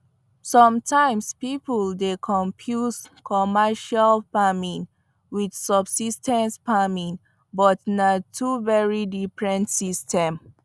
sometimes people dey confuse commercial farming with subsis ten ce farming but na two very diffrent system